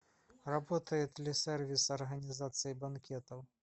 работает ли сервис организации банкетов